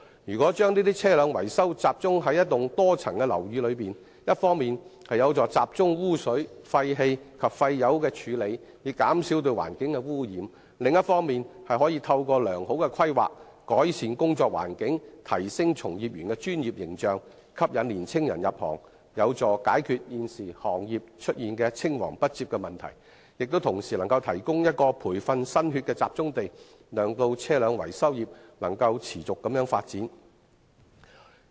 如果把車輛維修中心集中於一幢多層樓宇，一方面有助集中污水、廢氣及廢油的處理，減少對環境的污染，另一方面亦可以透過良好的規劃，改善工作環境，提升從業員的專業形象，吸引年青人入行，有助解決現時行業出現青黃不接的問題，亦同時能夠提供一個培訓新血的集中地，讓車輛維修業能夠持續發展。